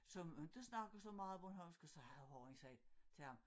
Som inte snakkede så meget bornholmsk og så havde horran sagt til ham